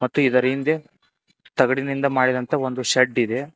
ಮತ್ತು ಇದರ ಹಿಂದೆ ತಗಡಿನಿಂದ ಮಾಡಿದಂತಹ ಒಂದು ಶೆಡ್ ಇದೆ.